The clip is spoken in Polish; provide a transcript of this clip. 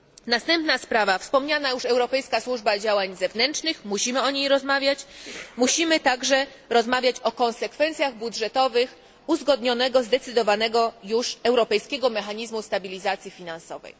Następna sprawa wspomniana już Europejska Służba Działań Zewnętrznych musimy o niej rozmawiać, musimy także rozmawiać o konsekwencjach budżetowych uzgodnionego i zdecydowanego już Europejskiego Mechanizmu Stabilizacji Finansowej.